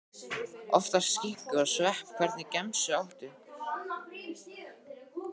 Oftast skinku og svepp Hvernig gemsa áttu?